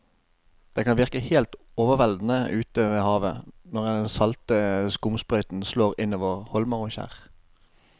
Det kan virke helt overveldende ute ved havet når den salte skumsprøyten slår innover holmer og skjær.